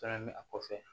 Fɛnɛ mɛ a kɔfɛ